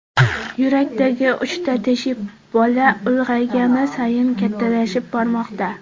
Yurakdagi uchta teshik bola ulg‘aygani sayin kattalashib bormoqda.